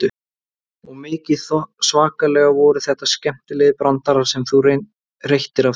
Og mikið svakalega voru þetta skemmtilegir brandarar sem þú reyttir af þér.